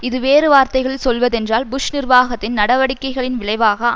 இது வேறு வார்த்தைகளில் சொல்வதென்றால் புஷ் நிர்வாகத்தின் நடவடிக்கைகளின் விளைவாக